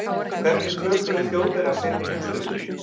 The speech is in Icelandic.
Hvernig töpuðu Þjóðverjar seinni heimsstyrjöldinni?